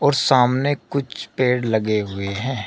और सामने कुछ पेड़ लगे हुए हैं।